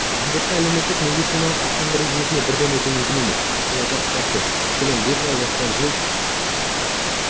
міндетті әлеуметтік медициналық сақтандыру жүйесіне бірден өту мүмкін емес бұл ұзақ процесс мәселен литва осыдан жыл